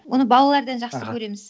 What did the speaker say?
оны балалардан жақсы аха көреміз